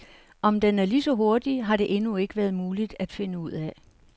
Om den er ligeså hurtig, har det endnu ikke været muligt at finde ud af.